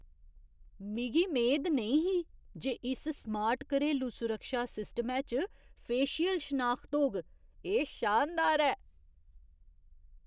मिगी मेद नेईं ही जे इस स्मार्ट घरेलू सुरक्षा सिस्टमै च फेशियल शनाखत होग। एह् शानदार ऐ!